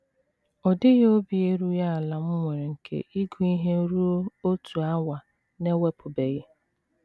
Ọ dịghị obi erughị ala m nwere nke ịgụ ihe ruo otu awa na - ewepụbeghị. ”